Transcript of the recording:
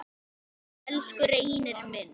Elsku Reynir minn.